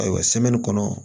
Ayiwa kɔnɔ